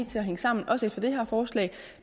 til at hænge sammen også efter det her forslag